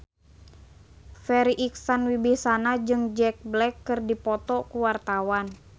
Farri Icksan Wibisana jeung Jack Black keur dipoto ku wartawan